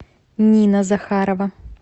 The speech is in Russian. нина захарова